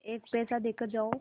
एक पैसा देकर जाओ